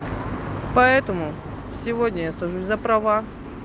поэтому сегодня я сажусь за права